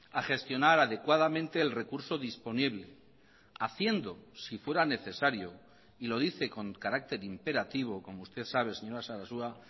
a gestionar adecuadamente el recurso disponible haciendo si fuera necesario y lo dice con carácter imperativo como usted sabe señora sarasua